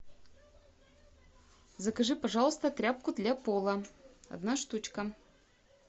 закажи пожалуйста тряпку для пола одна штучка